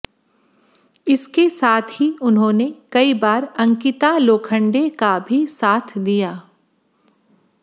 इसके साथ ही उन्होंन कई बार अंकिता लोखंडे का भी साथ दिया